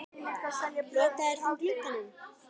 Lokaðir þú glugganum?